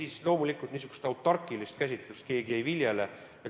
Ei, loomulikult niisugust autarkilist käsitlust keegi ei viljele.